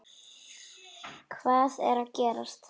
Hvað er að gerast!